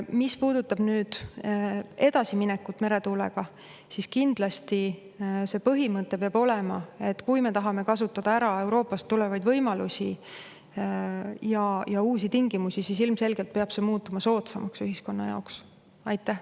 Mis puudutab aga edasiminekut meretuulega, siis kindlasti see põhimõte peab olema, et kui me tahame kasutada ära Euroopast tulevaid võimalusi ja uusi tingimusi, siis ilmselgelt peab see muutuma ühiskonna jaoks soodsamaks.